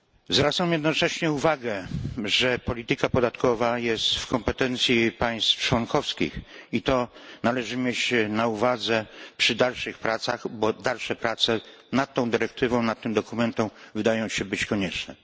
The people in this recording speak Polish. Zwracam jednocześnie uwagę, że polityka podatkowa leży w kompetencjach państw członkowskich i to należy mieć na uwadze przy dalszych pracach, gdyż dalsze prace nad tą dyrektywą, nad tym dokumentem, wydają się być konieczne.